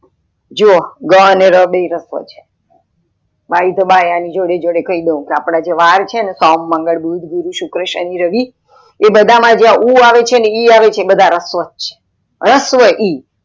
જુવો બ અને ર બેય રસ્વ છે બાય અણી જોડે કઈ દઉં અપડે જે વાર છેને સોમ, માગલ, બુધ, ગુરુ, શુક્ર, શાની, રવિ, એ બધા માં જ્યાં ઉં આવે છે એ બધા રસ્વ છે. રસ્વ ઈ